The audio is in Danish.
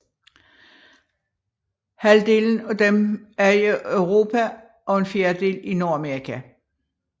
Halvdelen af dem er i Europa og en fjerdedel i Nordamerika